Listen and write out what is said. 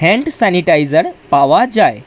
Hand sanitiser পাওয়া যায়।